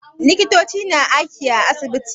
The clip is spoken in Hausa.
Likitoci na aiki a asibiti.